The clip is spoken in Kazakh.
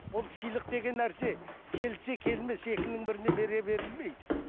ол сыйлық деген нәрсе келсе келмесе екінің біріне бере берілмейді